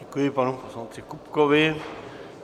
Děkuji panu poslanci Kupkovi.